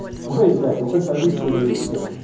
ой блять ну как повеселились хоть